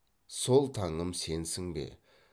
сол таңым сенсің бе